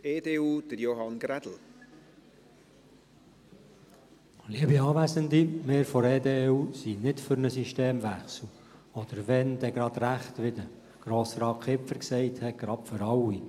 Wir von der EDU sind nicht für einen Systemwechsel oder wenn, dann gleich richtig, wie Grossrat Kipfer sagte, gleich für alle.